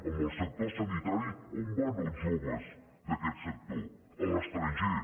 en el sector sanitari on van els joves d’aquest sector a l’estranger